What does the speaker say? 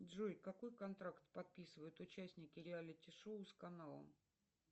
джой какой контракт подписывают участники реалити шоу с каналом